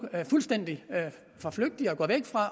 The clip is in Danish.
fuldstændig forflygtiger